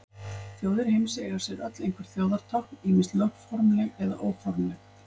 Þjóðir heims eiga sér öll einhver þjóðartákn, ýmist lögformleg eða óformleg.